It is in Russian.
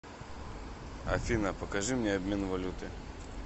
афина покажи мне обмен валюты